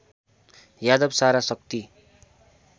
यादव सारा शक्ति